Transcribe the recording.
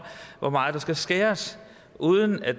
hvor meget der skal skæres uden at